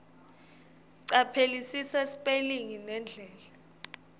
caphelisisa sipelingi nendlela